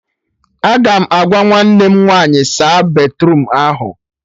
Aga m agwa nwanne m nwaanyị "saa batruum ahụ "